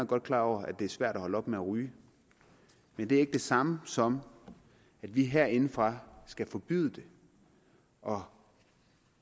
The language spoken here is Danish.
godt klar over at det er svært at holde op med at ryge men det er ikke det samme som at vi herindefra skal forbyde det og